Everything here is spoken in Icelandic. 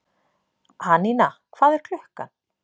Anína, hvað er klukkan?